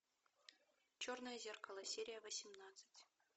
черное зеркало серия восемнадцать